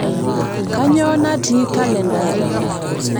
kainyoo natii kalenda aai